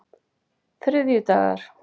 þriðjudagar